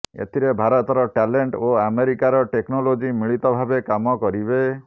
ଏଥିରେ ଭାରତର ଟ୍ୟାଲେଣ୍ଟ ଓ ଆମେରିକାର ଟେକ୍ନୋଲୋଜି ମିଳିତ ଭାବେ କାମ କରିବେ